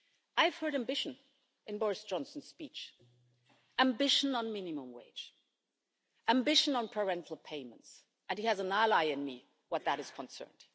I have heard ambition in Boris Johnson's speech ambition on the minimum wage, ambition on parental payments, and he has an ally in me where that is concerned.